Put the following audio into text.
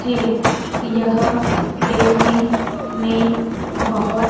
है यह देखने में बहोत--